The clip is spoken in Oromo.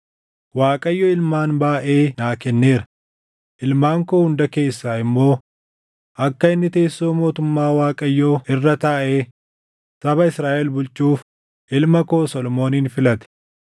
Waaqayyo ilmaan baayʼee naa kenneera; ilmaan koo hunda keessaa immoo akka inni teessoo mootummaa Waaqayyoo irra taaʼee saba Israaʼel bulchuuf ilma koo Solomoonin filate.